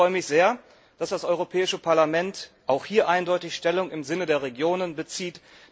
Ich freue mich sehr, dass das Europäische Parlament auch hier eindeutig Stellung im Sinne der Regionen bezieht.